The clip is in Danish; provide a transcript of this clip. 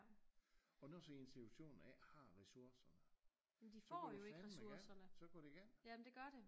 Og når sådan en institution ikke har ressourcer så går det fandme galt så går det galt